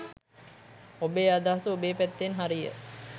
ඔබේ අදහස ඔබේ පැත්තෙන් හරිය